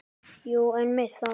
Jú, einmitt þar.